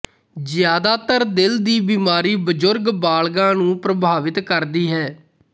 ਜ਼ਿਆਦਾਤਰ ਦਿਲ ਦੀ ਬਿਮਾਰੀ ਬਜ਼ੁਰਗ ਬਾਲਗਾਂ ਨੂੰ ਪ੍ਰਭਾਵਿਤ ਕਰਦੀ ਹੈ